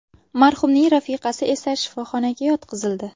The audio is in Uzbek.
Marhumning rafiqasi esa shifoxonaga yotqizildi.